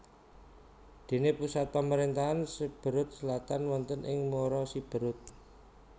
Dene pusat pamarentahan Siberut Selatan wonten ing Muara Siberut